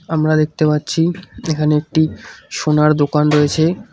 আমরা দেখতে পাচ্ছি এখানে একটি সোনার দোকান রয়েছে।